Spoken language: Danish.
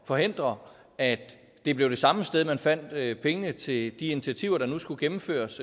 forhindre at det blev det samme sted man fandt penge til de initiativer der nu skulle gennemføres